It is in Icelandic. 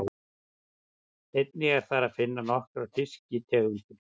Einnig er þar að finna nokkrar fiskitegundir.